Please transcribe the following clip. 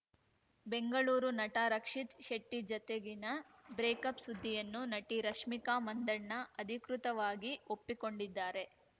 ಬೆಂಗಳೂರು ನಟ ರಕ್ಷಿತ್‌ ಶೆಟ್ಟಿಜತೆಗಿನ ಬ್ರೇಕಪ್‌ ಸುದ್ದಿಯನ್ನು ನಟಿ ರಶ್ಮಿಕಾ ಮಂದಣ್ಣ ಅಧಿಕೃತವಾಗಿ ಒಪ್ಪಿಕೊಂಡಿದ್ದಾರೆ